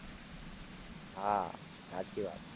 હાં સાચી વાત.